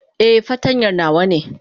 Eh, fartanya nawa ne.